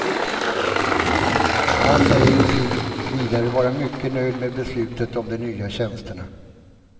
Han säger sig vidare vara mycket nöjd med beslutet om de nya tjänsterna.